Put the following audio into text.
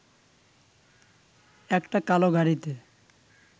একটা কালো গাড়িতে